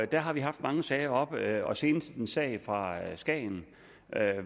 der har vi haft mange sager oppe og senest en sag fra skagen